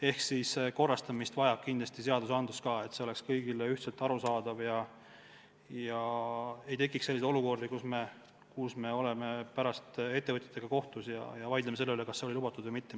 Ehk siis korrastamist vajab kindlasti ka seadustik – see peab olema kõigile ühtmoodi arusaadav, et ei tekiks selliseid olukordi, kus me oleme mingil hetkel ettevõtjatega kohtus ja vaidleme selle üle, kas miski oli lubatud või mitte.